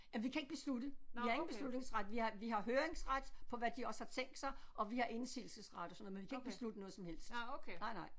Ja vi kan ikke beslutte vi har ingen beslutningsret vi har vi har høringsret på hvad de også har tænkt sig og vi har indsigelsesret og sådan noget men vi kan ikke beslutte noget som helst nej nej